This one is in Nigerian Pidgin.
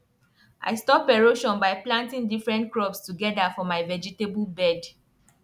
i stop erosion by planting different crops together for my vegetable bed